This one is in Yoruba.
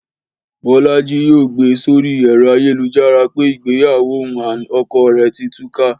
Bọ́lájí yóò gbé e sórí ẹ̀rọ ayélujára pé ìgbéyàwó òun and ọkọ rẹ̀ ti túká